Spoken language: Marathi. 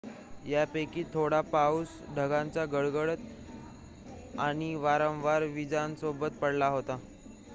यापैकी थोडा पाऊस ढगांचा गडगडाट आणि वारंवार वीजांसोबत पडला होता